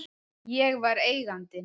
Ég var Eigandinn.